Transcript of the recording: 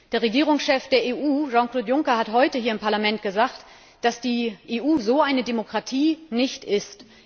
Der Regierungschef der EU, Jean Claude Juncker, hat heute hier im Parlament gesagt, dass die EU so eine Demokratie nicht ist.